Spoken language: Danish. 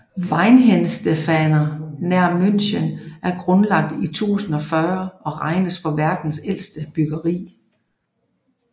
Weihenstephaner nær München er grundlagt i 1040 og regnes for verdens ældste bryggeri